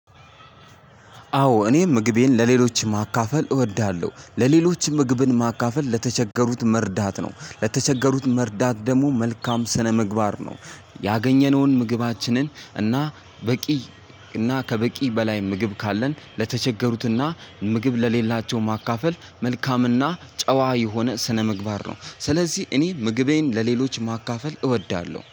አዎ እኔ ምግቤን ለሌሎች ማካፈል እወዳለሁ ለሌሎች ምግብን ማካፈል ለተቸገሩት መርዳት ነው ለተቸገሩት መርዳት ደግሞ መልካም ስነምግባር ነው። ያገኘነውን ምግባችንን እና በቂ እና ከበቂ በላይ ምግብ ካለን ለተቸገሩትና ምግብ ለሌላቸው ማካፈል መልካምና ጨዋ የሆነ ስነምግባር ነው። ስለዚህ እኔ ምግቤን ለሌሎች ማካፈል እወዳለሁ